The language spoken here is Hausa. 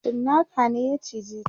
cinnaka ne ya cije ta